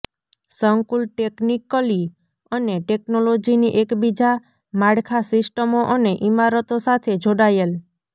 સંકુલ ટેકનિકલી અને ટેકનોલોજીની એકબીજા માળખાં સિસ્ટમો અને ઇમારતો સાથે જોડાયેલ